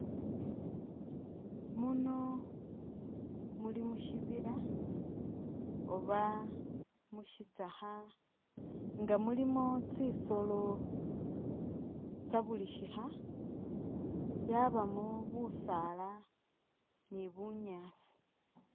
Muno muli mu shibila oba mu shitsakha nga mulimo tsisolo tsa buli shikha yabamo busaala ni bunyaasi.